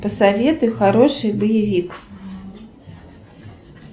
посоветуй хороший боевик